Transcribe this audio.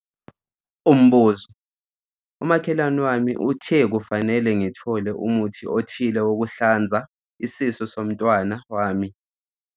Umbuzo- Umakhelwane wami uthe kufanele ngithole umuthi othile wokuhlanza isisu somntwana wami.